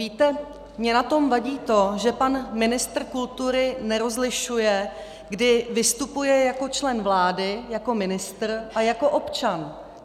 Víte, mně na tom vadí to, že pan ministr kultury nerozlišuje, kdy vystupuje jako člen vlády - jako ministr - a jako občan.